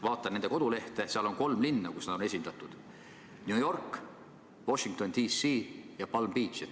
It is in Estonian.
Vaatan nende kodulehte, seal on kolm linna, kus nad on esindatud: New York, Washington D.C. ja Palm Beach.